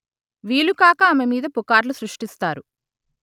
వీలుకాక ఆమె మీద పుకార్లు సృష్టిస్తారు